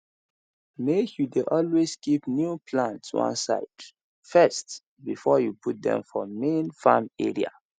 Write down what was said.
make you dey always keep new plants one side first before you put dem for main farm area